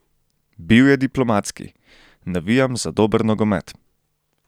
Bil je diplomatski: "Navijam za dober nogomet.